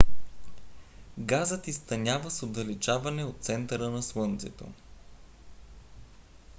газът изтънява с отдалечаване от центъра на слънцето